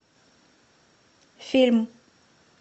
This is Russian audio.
фильм